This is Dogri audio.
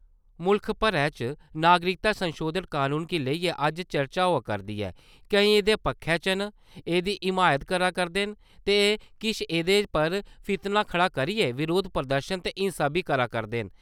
मुल्ख भरै च नागरिकता संशोधन कनून गी लेइयै अज्ज चर्चा होआ करदी ऐ केई ऐह्दे पक्खै च न, एह्दी हिमायत करदे न ते किश एह्दे पर फितना खड़ा करियै बरोध प्रदर्शन ते हिंसा बी करा करदे न ।